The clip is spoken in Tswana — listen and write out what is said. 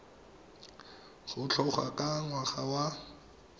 go tloga ka ngwaga wa